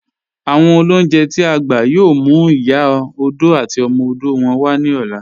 Awọn olúnjẹ̀ t'i a gbà yóò mú Ìyá òdò àti ọmọ òdò wọn wa ni ọ̀lá